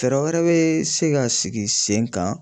Fɛɛrɛ wɛrɛ bɛ se ka sigi sen kan.